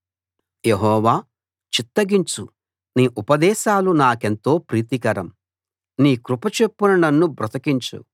యెహోవా చిత్తగించు నీ ఉపదేశాలు నాకెంతో ప్రీతికరం నీ కృపచొప్పున నన్ను బ్రతికించు